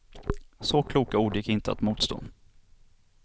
Så kloka ord gick inte att motstå.